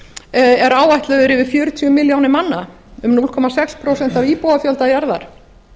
er áætlaður yfir fjörutíu milljónir manna um núll komma sex prósent af íbúafjölda jarðar